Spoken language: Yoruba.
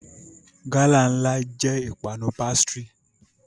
Gala nla jẹ ipanu pastry.